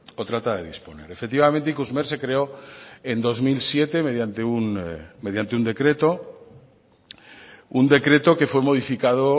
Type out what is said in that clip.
o trata de disponer efectivamente ikusmer se creó en dos mil siete mediante un decreto un decreto que fue modificado